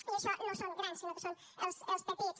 i això no són grans sinó que són els petits